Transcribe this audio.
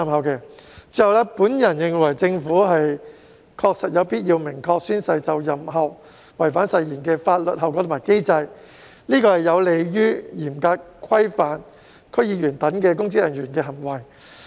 最後，我認為政府確實有必要訂明宣誓就任後違反誓言的法律後果及機制，此舉有利於嚴格規範區議員等公職人員的行為。